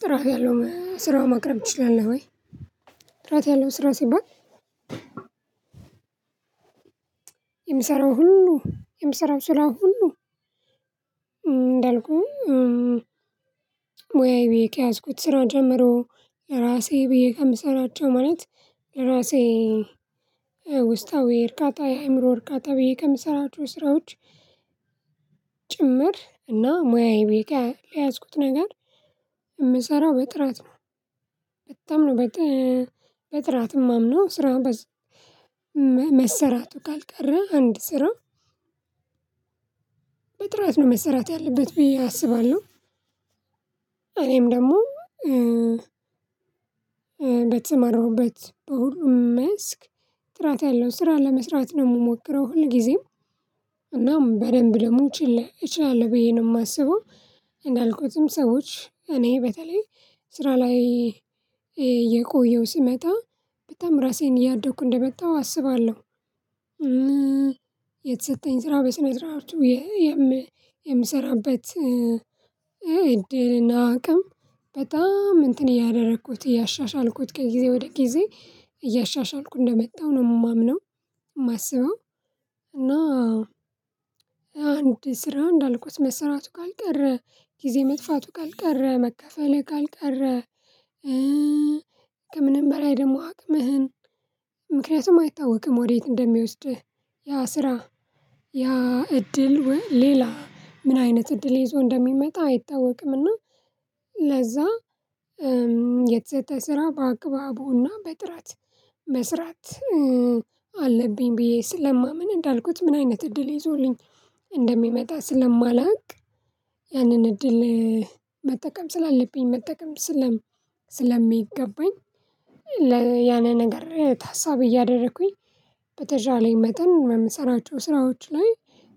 ጥራት ያለው ስራ ማቅረብ ትችላለህ ወይ? ጥራት ያለው ስራ ሲባል የምሰራው ሁሉ የምሰራው ስራ ሁሉ እንዳልኩህ ሙያዬ ብዬ ከያዝኩት ስራ ጀምሮ ራሴ ብዬ ከምሰራቸው ማለት ራሴ ውስጣዊ እርካታ የአእምሮ እርካታ ብዬ ከምሰራቸው ስራዎች ጭምር እና ሙያዬ ብዬ ከለያዝኩት ነገር የምሰራው በጥራት ነው በጣም ነው በጥራት የማምነው ስራ በዚ መሰራቱ ካልቀረ አንድ ስራ በጥራት ነው መሰራት ያለበት ብዬ አስባለሁ። እኔም ደግሞ በተሰማራሁበት በሁሉም መስክ ጥራት ያለው ስራ ለመስራት ነው የምሞክረው ሁልጊዜም እናም በደንብ ደሞ እችላለሁ ብዬ ነው የማስበው። እንዳልኩትም ሰዎች እኔ በተለይ ስራ ላይ እየቆየው ስመጣ በጣም ራሴን እያደኩ እንደመጣሁ አስባለሁ። የተሰጠኝ ስራ በስነ ስርዓቱ የምሰራበት እድልና አቅም በጣም እንትን እያደረኩት እያሻሻልኩት ከጊዜ ወደ ጊዜ እያሻሻልኩ እንደመጣሁ ነው የማምነው የማስበው። እና አንድ ስራ እንዳልኩት መሰራቱ ካልቀረ ጊዜ መጥፋቱ ካልቀረ መከፈልህ ካልቀረ ከምንም በላይ ደግሞ አቅምህን ምክንያቱም አይታወቅም ወዴት እንደሚወስድህ ያ ስራ ያ እድል ሌላ ምን አይነት እድል ይዞ እንደሚመጣ አይታወቅምና። ለዛ የተሰጠ ስራ በአግባቡና በጥራት መስራት አለብኝ ብዬ ስለማምን እንዳልኩት ምን አይነት እድል ይዞልኝ እንደሚመጣ ስለማላውቅ ያንን እድል መጠቀም ስላለብኝ መጠቀም ስለም ስለሚገባኝ። ያንን ነገር ታሳቢ እያደረኩኝ በተቻለኝ መጠን በምሰራቸው ስራዎች ላይ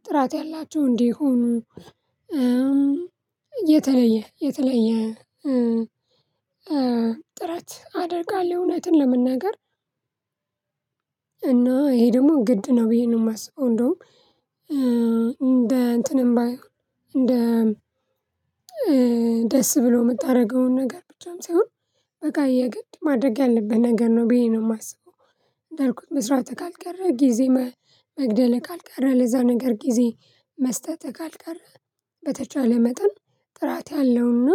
ጥራት ያላቸው እንዲሆኑ እየተለየ የተለየ ጥራት አደርጋለሁ እውነትን ለመናገር። እና ይሄ ደግሞ ግድ ነው ብዬ ነው የማስበው እንደውም እንደ እንትንም ባይሆን እንደ ደስ ብሎ የምታደርገውን ነገር ብቻም ሳይሆን በቃ የግድ ማድረግ ያለብህ ነገር ነው ብዬ ነው የማስበው። እንዳልኩት መስራትህ ካልቀረ ጊዜ መግደልህ ካልቀረ ለዛ ነገር ጊዜ መስጠትህ ካልቀረ በተቻለ መጠን ጥራት ያለውና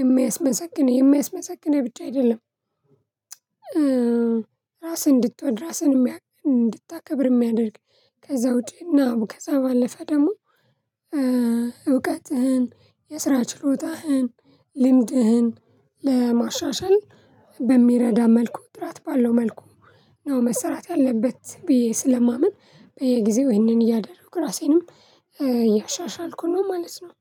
የሚያስመሰግን የሚያስመሰግንህ ብቻ አይደለም። ራስህን እንድትወድ ራስህን እንድታከብር የሚያደርግ ከዛ ውጪ ነው ከዛ ባለፈ ደግሞ እውቀትህን የስራ ችሎታህን ልምድህን ለማሻሻል በሚረዳ መልኩ ጥራት ባለው መልኩ ነው መሰራት ያለበት ብዬ ስለማምን በየጊዜው ይሄንን እያደረኩ ራሴንም እያሻሻልኩ ነው ማለት ነው።